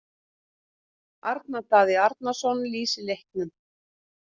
Arnar Daði Arnarsson lýsir leiknum.